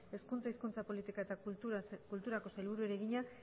hezkuntza hizkuntza politika eta kulturako sailburuari egina